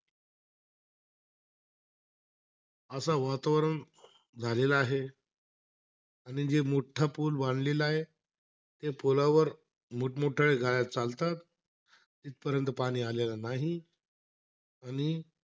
असा वातावरण झालेला आहे. आणि जे मोठा पूल बांधलेला आहे. ते पुलावर मोठ-मोठाल्या गाड्या चालतात. तिथपर्यंत पाणी आलेलं नाही. आणि,